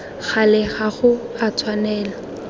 gale ga go a tshwanela